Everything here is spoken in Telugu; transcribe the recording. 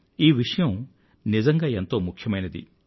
ఈ విషయం నిజంగా ఎంతో ముఖ్యమైనది